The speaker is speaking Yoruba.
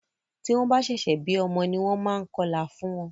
Tí wọ́n bá ṣẹ̀ṣẹ̀ bí ọmọ ní wọ́n máa ń kọlà fún wọ́n.